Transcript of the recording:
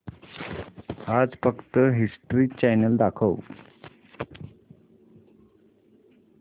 आज फक्त history channel दाखव